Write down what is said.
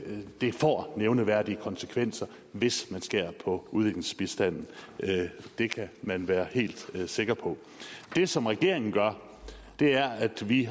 får nævneværdige konsekvenser hvis man skærer på udviklingsbistanden det kan man være helt sikker på det som regeringen gør er at vi